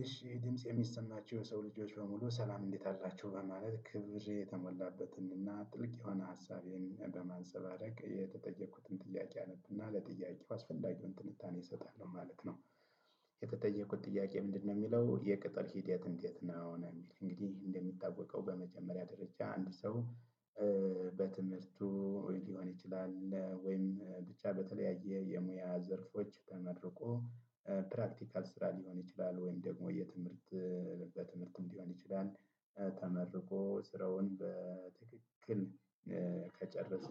እሺ ድምጽ የሚሰጣቸው የሰው ልጆች በሙሉ ሰላም እንዴት አላቸው በማለት ክብሬ የተሞላበትንና ጥልቅ የሆነ ሀሳቤን በማንሰባረቅ የተጠየኩትን ጥያቄ አነብና ለጥያቄው አስፈላጊውን ትንታኔ እሰጣለሁ ማለት ነው። የተጠየኩት ጥያቄ ምንድነው የሚለው የቅጥር ሂድያት እንዴት ነው? የሚል እንግዲህ እንደሚታወቀው በመጀመሪያ ደረጃ አንድ ሰው በትምህርቱ ሊሆን ይችላል ወይም ብቻ በተለያየ የሙያ ዘርፎች ተመርቆ ፕራክቲካል ስራ ሊሆን ይችላል ወይም ደግሞ የትምህርት በትምህርት ሊሆን ይችላል ተመርቆ ስራውን በትክክል ከጨረሰ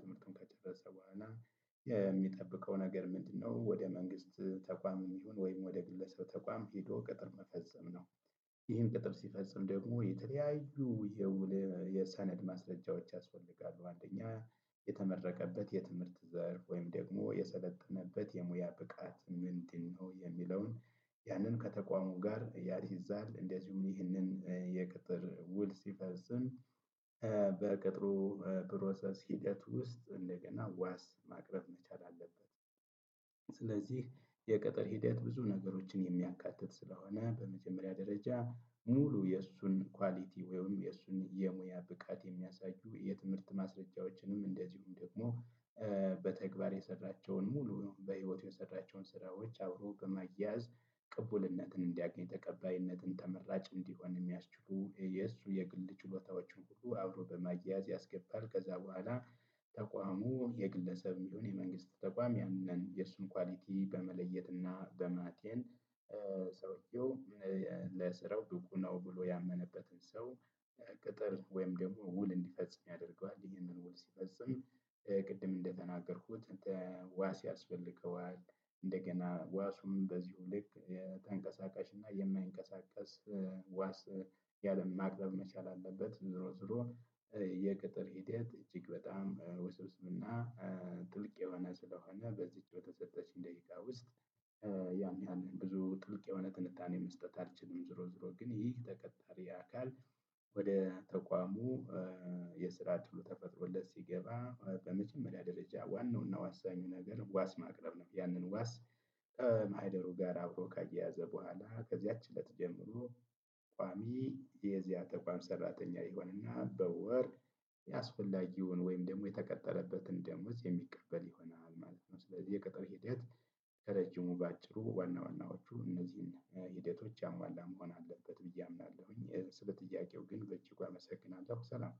ትምህርቱን ከጨረሰ በኋላ የሚጠብቀው ነገር ምንድነው ወደ መንግስት ተቋም ይሁን ወይም ወደ ግለሰብ ተቋም ሄዶ ቅጥር መፈጸም ነው። ይህን ቅጥር ሲፈጸም ደግሞ የተለያዩ የውል የሰነድ ማስረጃዎች ያስፈልጋሉ። አንደኛ የተመረቀበት የትምህርት ዘርፍ ወይም ደግሞ የሰለጠነበት የሙያ ብቃት ምንድን ነው የሚለውን ያንን ከተቋሙ ጋር ያያይዛል እንደዚሁም ይህንን የቅጥር ውል ሲፈጽም በቅጥሩ ፕሮሰስ ሂደት ውስጥ እንደገና ዋስ ማቅረብ መቻል አለበት። ስለዚህ የቅጥር ሂደት ብዙ ነገሮችን የሚያካትት ስለሆነ በመጀመሪያ ደረጃ ሙሉ የእሱን ኳሊቲ ወይም የእሱን የሙያ ብቃት የሚያሳዩ የትምህርት ማስረጃዎችንም እንደዚሁም ደግሞ በተግባር የሰራቸውን ሙሉ በህይወት የሰራቸውን ስራዎች አብሮ በማያያዝ ቅቡልነትን እንዲያገኝ ተቀባይነትን ተመራጭ እንዲሆን የሚያስችሉ የእሱ የግል ችሎታዎቹን ሁሉ አብሮ በማያያዝ ያስገባል ከዛ በኋላ ተቋሙ የግለሰብ የሚለውን የመንግስት ተቋም ያንን የእሱን ኳሊቲ በመለየትና በማጤን ሰውየው ለስራው ብቁ ነው ብሎ ያመነበትን ሰው ቅጥር ወይም ደግሞ ውል እንዲፈጽም ያደርገዋል ይሄንን ውል ሲፈጽም ቅድም እንደተናገርኩት ዋስ ያስፈልገዋል እንደገና ዋሱም በዚሁ ልክ ተንቀሳቃሽ እና የማይንቀሳቀስ ዋስ ያለም ማቅረብ መቻል አለበት ዝሮ ዝሮ የቅጥር ሒደት እጅግ በጣም ውስብስብ እና ጥልቅ ስሆነ በዚች በተሰጠች ደቂቃ ውስጥ ያን ያህል ብዙ ጥልቅ የሆነ ትንታኔ መስጠት አልችልም። ዝሮ ዝሮ ግን ይህ ተቀጣሪ አካል ወደ ተቋሙ የስራ እድሉ ተፈጥሮለት ሲገባ በመጀመሪያ ደረጃ ዋናውና ዋሳኙ ነገር ዋስ ማቅረብ ነው ያንን ዋስ ማህደሩ ጋር አብሮ ካያያዘ በኋላ ከዚያች እለት ጀምሮ ቋሚ የዚያ ተቋም ሰራተኛ ይሆንና በወር አስፈላጊውን ወይም ደግሞ የተቀጠረበትን ደምዝ የሚቀበል ይሆናል ማለት ነው ስለዚህ የቅጥር ሂደት ከረጅሙ በአጭሩ ዋና ዋናዎቹ እነዚህን ሂደቶች ያሟላ መሆን አለበት ብዬ አምናለሁኝ። ስለ ጥያቄው ግን በእጅጉ አመሰግናለሁ። ሰላም